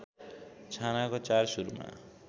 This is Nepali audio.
छानाको चार सुरमा